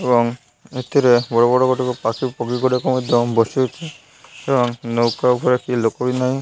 ଏବଂ ଏଥିରେ ବଡ଼ ବଡ଼ ଗୋଟିକ ପାଶେ ପକେଇ କରି କଣ ଦମ୍ ବସେଇଚି ଏବଂ ନୌକା ଉପରେ କେହି ଲୋକ ବି ନାହିଁ।